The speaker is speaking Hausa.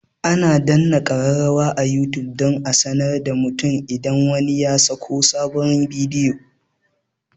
Ana danna kararrawa a youtube don a sanar da mutum idan wani ya saka sabon bidiyo